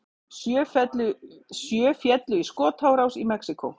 Sjö féllu í skotárás í Mexíkó